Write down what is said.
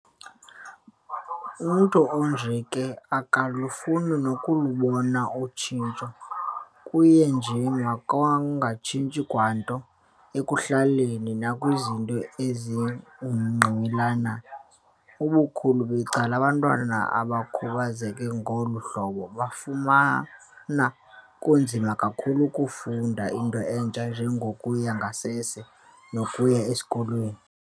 Umntu onje ke akalufuni nokulubona utshintsho, kuye nje makungatshintshi kwanto ekuhlaleni, nakwizinto ezimngqongileyo. Ubukhulu becala abantwana abakhubazeke ngolu hlobo bafumana kunzima kakhulu ukufunda into entsha enje ngokuya ngasese nokuya esikolweni.